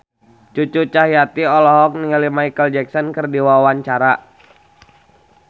Cucu Cahyati olohok ningali Micheal Jackson keur diwawancara